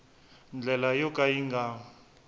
ndlela yo ka yi nga